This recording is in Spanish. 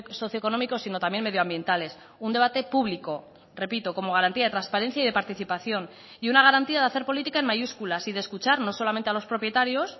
socioeconómicos sino también medioambientales un debate público repito como garantía de transparencia y de participación y una garantía de hacer política en mayúsculas y de escuchar no solamente a los propietarios